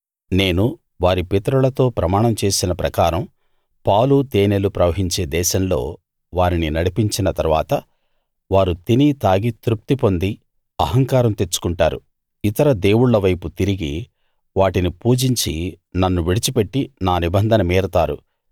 నేను వారి పితరులతో ప్రమాణం చేసిన ప్రకారం పాలు తేనెలు ప్రవహించే దేశంలో వారిని నడిపించిన తరువాత వారు తిని తాగి తృప్తిపొంది అహంకారం తెచ్చుకుంటారు ఇతర దేవుళ్ళ వైపు తిరిగి వాటిని పూజించి నన్ను విడిచిపెట్టి నా నిబంధన మీరతారు